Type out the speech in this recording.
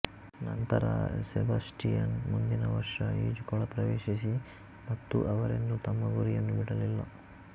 ನಂತರಸೆಬಾಸ್ಟಿಯನ್ ಮುಂದಿನ ವರ್ಷ ಈಜುಕೊಳ ಪ್ರವೇಶಿಸಿ ಮತ್ತೆ ಅವರೆಂದೂ ತಮ್ಮ ಗುರಿಯನ್ನು ಬಿಡಲಿಲ್ಲ